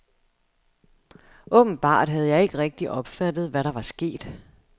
Åbenbart havde jeg ikke rigtigt opfattet, hvad der var sket.